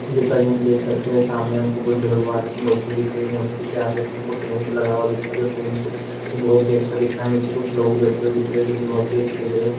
जैसा कि हम देख सकते हैं सामने हमको बुद्ध भगवान की मूर्ति दिख रही है। मूर्ति हमको टेंट लगा हुआ दिख रहा है जो टेंट बोहोत ही अच्छा दिख रहा है। नीचे कुछ लोग बैठे हुए दिख रहे हैं जो कि बोहोत ही अच्छे दिख रहे हैं।